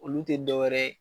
Olu te dɔwɛrɛ ye